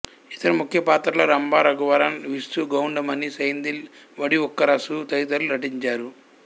ఇతర ముఖ్య పాత్రల్లో రంభ రఘువరన్ విసు గౌండమణి సెంథిల్ వడివుక్కరసు తదితరులు నటించారు